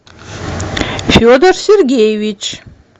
федор сергеевич